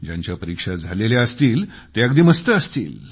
ज्यांच्या परीक्षा झालेल्या असतील ते अगदी मस्त असतील